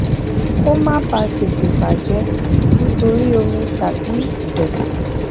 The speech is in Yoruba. kó o má bàa tètè bà jé nítorí omi tàbí ìdòtí